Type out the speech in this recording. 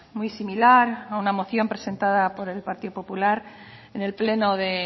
muy similar a una moción presentada por el partido popular en el pleno de